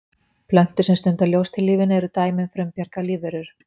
plöntur sem stunda ljóstillífun eru dæmi um frumbjarga lífverur